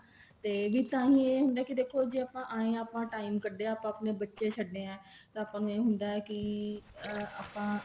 ਤੇ ਤਾਂਹੀ ਇਹ ਹੁੰਦਾ ਦੇਖੋ ਜੇ ਆਪਾਂ ਆਏ ਆਂ time ਕੱਡਆ ਆਪਾਂ ਆਪਣੇ ਬੱਚੇ ਛੱਡੇ ਆ ਤਾਂ ਆਪਾਂ ਨੂੰ ਇਹ ਹੁੰਦਾ ਕੀ ਆਪਾਂ